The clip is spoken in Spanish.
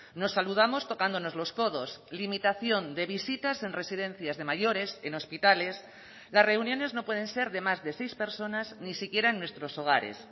nos saludamos tocándonos los codos limitación de visitas en residencias de mayores en hospitales las reuniones no pueden ser de más de seis personas ni siquiera en nuestros hogares